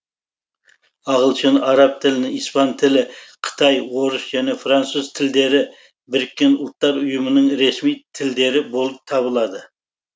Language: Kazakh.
ағылшын араб тілі испан тілі қытай орыс және француз тілдері біріккен ұлттар ұйымының ресми тілдері болып табылады